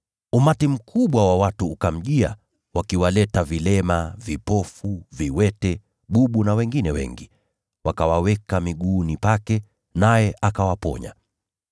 Umati mkubwa wa watu ukamjia, wakiwaleta vilema, vipofu, viwete, bubu na wengine wengi, wakawaweka miguuni pake; naye akawaponya.